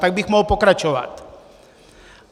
Tak bych mohl pokračovat.